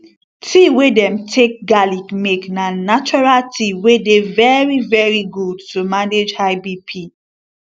tea wey dem take garlic make na natural tea wey dey very very good to manage high bp